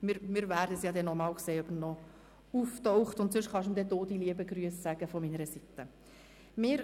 Wir werden sehen, ob er noch einmal auftaucht, und sonst kann ihm dann die Regierungsrätin die lieben Grüsse von meiner Seite übermitteln.